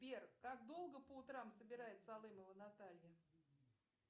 сбер как долго по утрам собирается алымова наталья